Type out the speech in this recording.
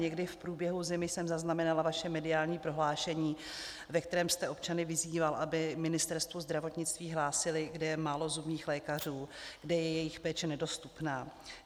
Někdy v průběhu zimy jsem zaznamenala vaše mediální prohlášení, ve kterém jste občany vyzýval, aby Ministerstvu zdravotnictví hlásili, kde je málo zubních lékařů, kde je jejich péče nedostupná.